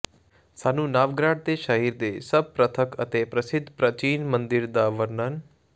ਸਾਨੂੰ ਨਾਵਗਰਾਡ ਦੇ ਸ਼ਹਿਰ ਦੇ ਸਭ ਪ੍ਰਤੱਖ ਅਤੇ ਪ੍ਰਸਿੱਧ ਪ੍ਰਾਚੀਨ ਮੰਦਿਰ ਦਾ ਵਰਣਨ